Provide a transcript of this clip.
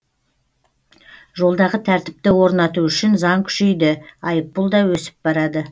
жолдағы тәртіпті орнату үшін заң күшейді айыппұл да өсіп барады